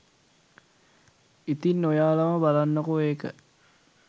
ඉතින් ඔයාලම බලන්නකො ඒක